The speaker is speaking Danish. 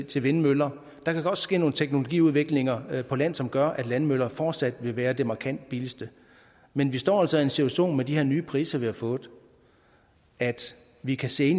til vindmøller der kan godt ske nogle teknologiudviklinger på land som gør at landmøller fortsat vil være det markant billigste men vi står altså i en situation med de her nye priser vi har fået at vi kan se